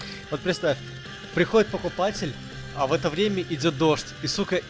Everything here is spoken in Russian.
подставь приходит покупатель а в это время идёт дождь